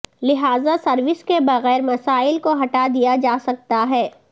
لہذا سروس کے بغیر مسائل کو ہٹا دیا جا سکتا ہے